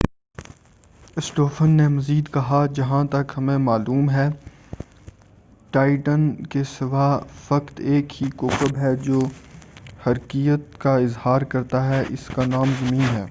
اسٹوفن نے مزید کہا جہا ں تک ہمیں معلوم ہے ٹائٹن کے سوا فقط ایک ہی کوکب ہے جو حرکیّت کا اظہار کرتا ہے اور اس کا نام ہے زمین